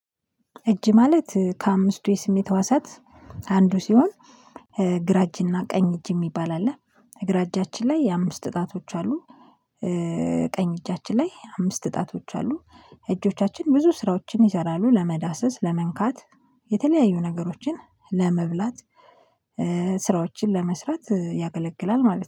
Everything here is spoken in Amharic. እጅ ማለት ከአምስቱ የስሜት ህዋሳት አንዱ ሲሆን ግራ እጅና ቀኝ እጅ የሚባል አለ ግራ እጃችን ላይ የአምስት ጣቶች አሉ። ቀኝ እጃችን ላይ አምስት ጣቶች አሉ። እጆቻችን ብዙ ስራዎችን ይሰራሉ ለመዳሰስ ለመንካት የተለያዩ ነገሮችን ለመብላት ስራዎችን ለመስራት ያገለግላል ማለት ነው